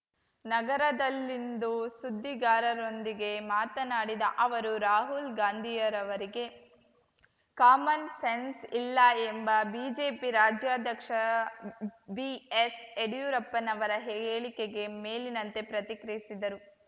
ನಗರದಲ್ಲಿಂದು ಸುದ್ದಿಗಾರರೊಂದಿಗೆ ಮಾತನಾಡಿದ ಅವರು ರಾಹುಲ್ ಗಾಂಧಿಯರವರಿಗೆ ಕಾಮನ್ ಸೆನ್ಸ್ ಇಲ್ಲ ಎಂಬ ಬಿಜೆಪಿ ರಾಜ್ಯಾಧ್ಯಕ್ಷ ಬಿಎಸ್ಯಡಿಯೂರಪ್ಪನವರ ಹೇಳಿಕೆಗೆ ಮೇಲಿನಂತೆ ಪ್ರತಿಕ್ರಿಯಿಸಿದರು